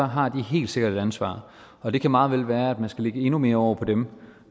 har de helt sikkert et ansvar og det kan meget vel være at man skal lægge endnu mere over på dem